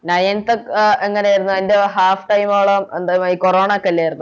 Ninteth ഒക്കെ എങ്ങനെയാരുന്നു അതിൻറെ Half time ആണോ എന്താ മ് കൊറോണൊക്കെല്ലാരുന്നോ